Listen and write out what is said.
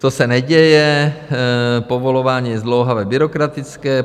To se neděje, povolování je zdlouhavé, byrokratické.